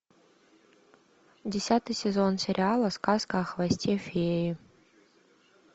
десятый сезон сериала сказка о хвосте феи